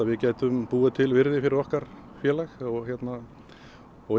við gætum búið til virði fyrir okkar félag og